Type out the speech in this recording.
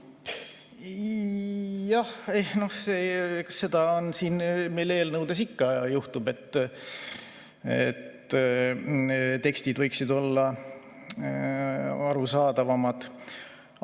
Jah, seda meil eelnõudes ikka juhtub, et tekstid võiksid olla arusaadavamad.